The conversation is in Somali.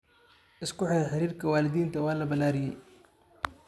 Isku xirka xiriirka waalidiinta waa la ballaariyay.